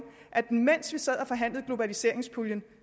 at mens vi sad og forhandlede globaliseringspuljen